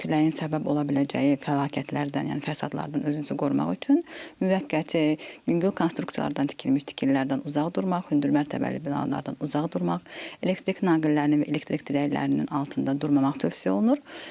Küləyin səbəb ola biləcəyi fəlakətlərdən, yəni fəsadlardan özünüzü qorumaq üçün müvəqqəti yüngül konstruksiyalardan tikilmiş tikililərdən uzaq durmaq, hündürmərtəbəli binalardan uzaq durmaq, elektrik naqillərinin və elektrik dirəklərinin altında durmamaq tövsiyə olunur.